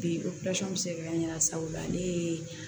Bi opirasɔn bɛ se ka kɛ an ɲɛna sabula ne ye